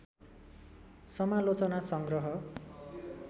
समालोचना सङग्रह